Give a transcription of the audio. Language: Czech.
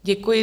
Děkuji.